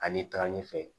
Ani taga ni fɛ